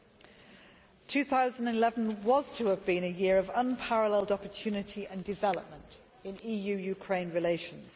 The year 2011 was to have been one of unparalleled opportunity and development in EU Ukraine relations.